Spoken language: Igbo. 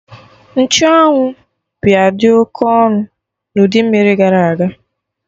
Nchụ anwụ bịa dị oke ọnụ na udu mmiri gara aga